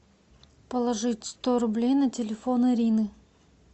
положить сто рублей на телефон ирины